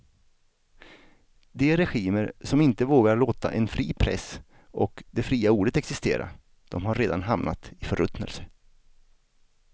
De regimer som inte vågar låta en fri press och det fria ordet existera, de har redan hamnat i förruttnelse.